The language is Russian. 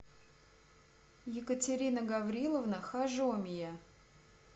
екатерина гавриловна хажомия